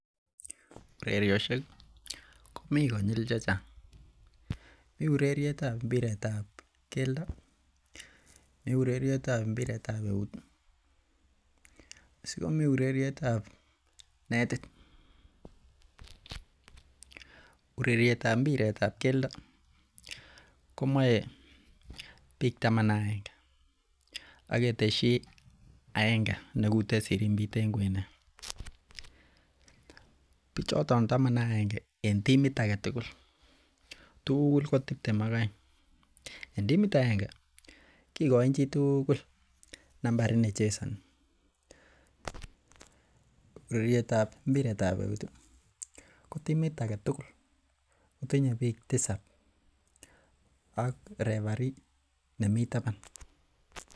Ureriosiek komii konyil chechang mii ureriet ab mpiret ab keldo mi ureriet ab mpiret ab eut ih asikomii ureriet ab netit. Ureriet ab mpiret ab keldo komoe biik taman ak agenge ak ketesyi agenge nekute sirimbit en kwenet bichoton taman ak agenge en timit ake tugul ko tiptem ak oeng. En timit aenge kikoin chitugul nambarit nechesoni. Ureriet ab mpiret ab eut ih ko timit ake tugul kotinye biik tisap ak referee nemii taban